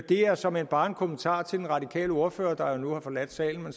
det er såmænd bare en kommentar til den radikale ordfører der nu har forladt salen men